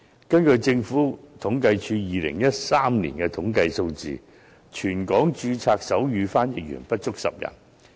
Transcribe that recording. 根據政府統計處2013年的統計數字，全港註冊的手語傳譯員不足10人。